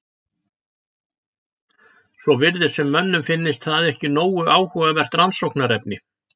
Svo virðist sem mönnum finnist það ekki nógu áhugavert rannsóknarefni.